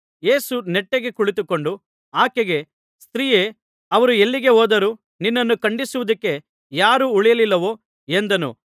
ಯೇಸು ನೆಟ್ಟಗೆ ಕುಳಿತುಕೊಂಡು ಆಕೆಗೆ ಸ್ತ್ರೀಯೇ ಅವರು ಎಲ್ಲಿಗೆ ಹೋದರು ನಿನ್ನನ್ನು ಖಂಡಿಸುವುದಕ್ಕೆ ಯಾರೂ ಉಳಿಯಲಿಲ್ಲವೋ ಎಂದನು